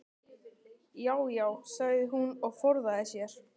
Já já, sagði hún og forðaði sér.